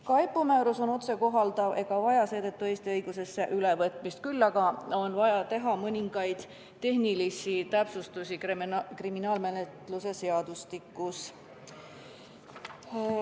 Ka EPPO määrus on otsekohalduv ega vaja seetõttu Eesti õigusesse ülevõtmist, küll aga on vaja teha mõningaid tehnilisi täpsustusi kriminaalmenetluse seadustikus.